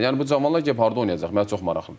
Yəni bu cavanlar gedib harda oynayacaq?